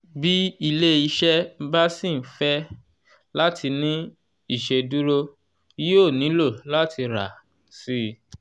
bí ilé-iṣẹ bá ṣì ń fẹ́ láti ní ìṣèdúró yóò nílò láti rà síi.